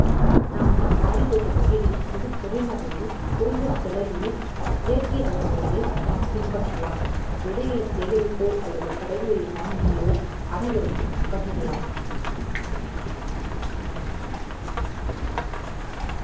நம் மாடித்தோட்ட வகைகளும் மிகக் குறைந்த அளவில் குறைந்த செலவில் இயற்கை வளம் முறையில் நம் பின்பற்றலாம் விதைகளை சேகரித்தோ அல்லது கடைகளில் வாங்கியோ அனைவருக்கும் பகிரலாம்